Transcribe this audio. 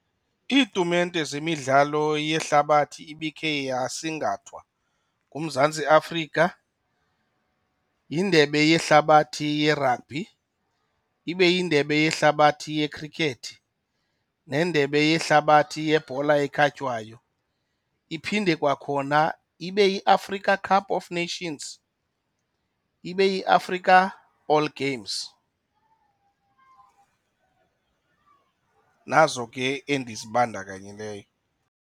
Iitumente zemidlalo yehlabathi ibikhe yasingathwa nguMzantsi Afrika yiNdebe yeHlabathi yeRabhi, ibe yiNdebe yeHlabathi yeKhrikethi neNdebe yeHlabathi yeBhola eKhatywayo. Iphinde kwakhona ibe yiAfrica Cup Of Nations, ibe yiAfrica All Games, nazo ke endizibandakanyileyo.